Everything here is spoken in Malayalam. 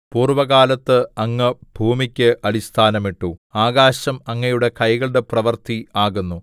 പൂർവ്വകാലത്ത് അങ്ങ് ഭൂമിക്ക് അടിസ്ഥാനമിട്ടു ആകാശം അങ്ങയുടെ കൈകളുടെ പ്രവൃത്തി ആകുന്നു